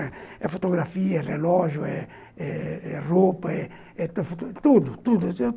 É fotografia eh relógio eh roupa eh tudo.